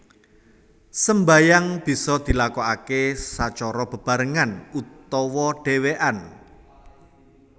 Sembayang bisa dilakokaké sacara bebarengan utawa dhèwèkan